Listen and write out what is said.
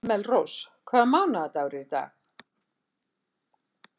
Melrós, hvaða mánaðardagur er í dag?